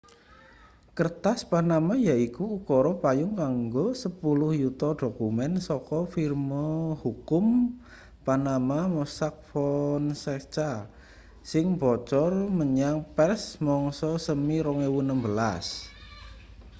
"kertas panama yaiku ukara payung kanggo sepuluh yuta dokumen saka firma hukum panama mossack fonseca sing bocor menyang pers mangsa semi 2016.